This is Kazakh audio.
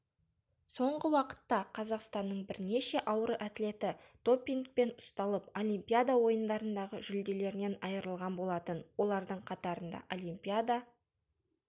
соңғы уақытта қазақстанның бірнеше ауыр атлеті допингпен ұсталып олимпиада ойындарындағы жүлделерінен айырылған болатын олардың қатарында олимпиада